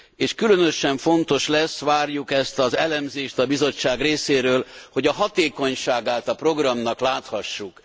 és különösen fontos lesz, várjuk ezt az elemzést a Bizottság részéről, hogy a hatékonyságát a programnak láthassuk.